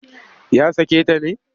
Ya sake ta ne?